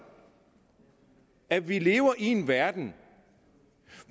at vi lever i en verden